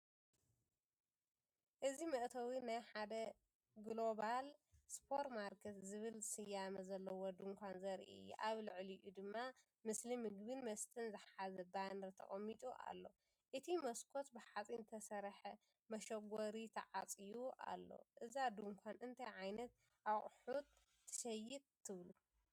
እዚ መእተዊ ናይ ሓደ "ግሎባል ስፖር ማርኬት" ዝብል ስያመ ዘለዎ ድኳን ዘርኢ እዩ። ኣብ ልዕሊኡ ድማ ምስሊ ምግብን መስተን ዝሓዘ ባነር ተቐሚጡ ኣሎ። እቲ መስኮት ብሓጺን ዝተሰርሐ መሸጎሪ ተዓጽዩ ኣሎ። እዛ ድኳን እንታይ ዓይነት ኣቑሑት ትሸይጥ ትብሉ?